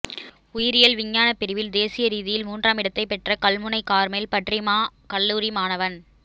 உயிரியல் விஞ்ஞான பிரிவில் தேசிய ரீதியில் மூன்றாம் இடத்தை பெற்ற கல்முனை கார்மேல் பற்றிமா கல்லூரி மாணவன்